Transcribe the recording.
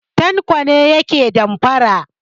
Tanko ne yake damfara.